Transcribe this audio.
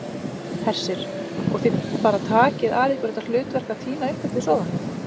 Hersir: Og þið bara takið að ykkur þetta hlutverk að tína upp eftir sóðana?